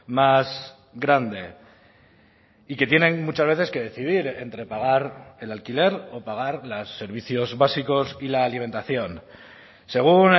más grande y que tienen muchas veces que decidir entre pagar el alquiler o pagar los servicios básicos y la alimentación según